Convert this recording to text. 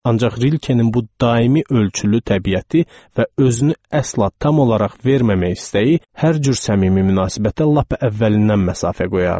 Ancaq Rilkenin bu daimi ölçülü təbiəti və özünü əsla tam olaraq verməmək istəyi hər cür səmimi münasibətə lap əvvəlindən məsafə qoyardı.